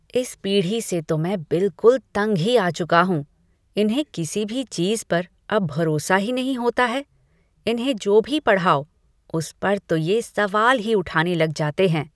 इस पीढ़ी से तो मैं बिलकुल तंग ही आ चुका हूँ, इन्हें किसी भी चीज़ पर अब भरोसा ही नहीं होता है, इन्हें जो भी पढ़ाओ उस पर तो ये सवाल ही उठाने लग जाते हैं।